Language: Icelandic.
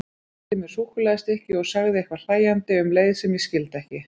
Hann rétti mér súkkulaðistykki og sagði eitthvað hlæjandi um leið sem ég skildi ekki.